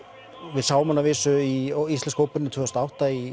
við sáum hann að vísu í íslensku óperunni tvö þúsund og átta í